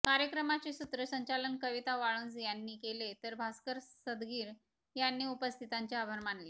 कार्यक्रमाचे सुत्रसंचालन कविता वाळुंज यांनी केले तर भास्कर सदगीर यांनी उपस्थितांचे आभार मानले